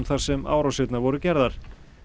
þar sem árásirnar voru gerðar